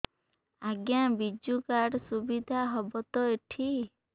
ଆଜ୍ଞା ବିଜୁ କାର୍ଡ ସୁବିଧା ହବ ତ ଏଠି